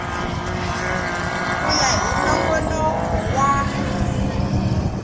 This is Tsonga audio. ku ya hi nongonoko wa